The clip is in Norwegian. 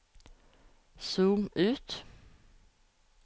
zoom ut